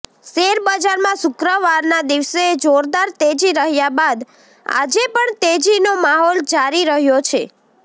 શેરબજારમાં શુક્રવારના દિવસે જોરદાર તેજી રહ્યા બાદ આજે પણ તેજીનો માહોલ જારી રહ્યો હતો